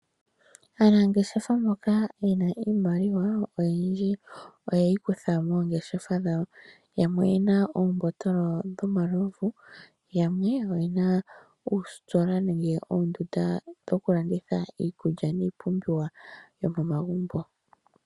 Aanangeshefa mboka ye na iimaliwa oyindji oye yi kutha moongeshefa dhawo. Yamwe oye na oombotolo dhomalovu, yamwe oye na uustola nenge oondunda dhokulanditha iikulya niipumbiwa yomomagumbo.